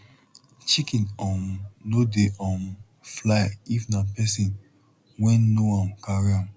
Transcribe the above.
chicken um no dey um fly if na pesin wen know am carry am